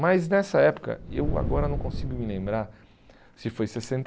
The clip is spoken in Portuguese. Mas nessa época, eu agora não consigo me lembrar se foi sessenta e